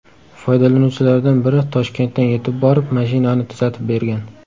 Foydalanuvchilardan biri Toshkentdan yetib borib, mashinani tuzatib bergan.